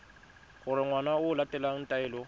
gore ngwana o latela taelo